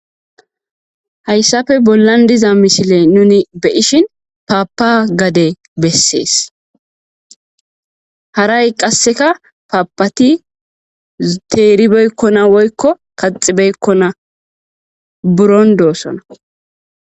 hayssappe bollan diza mishile nuni be ishin paapa gade bessees haray qasseka paapati teeribeykkona woykko kaxibeykkona buron doossona